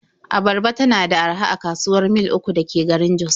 Abarba tana da araha a kasuwar Mil 3 da ke garin Jos.